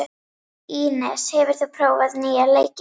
Ínes, hefur þú prófað nýja leikinn?